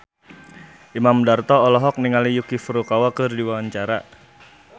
Imam Darto olohok ningali Yuki Furukawa keur diwawancara